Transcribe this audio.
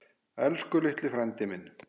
Elsku litli frændi minn.